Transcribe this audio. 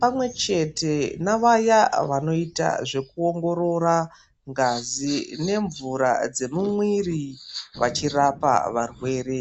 pamwechete navaya vanoita zvekuongorora ngazi nemvura dzemumwiri vachirapa varwere.